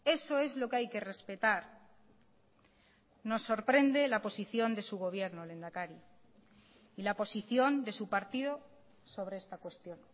eso es lo que hay que respetar nos sorprende la posición de su gobierno lehendakari y la posición de su partido sobre esta cuestión